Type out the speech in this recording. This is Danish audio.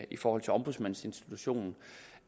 i forhold til ombudsmandsinstitutionen